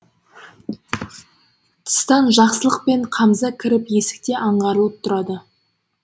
тыстан жақсылық пен қамза кіріп есікте аңғарылып тұрады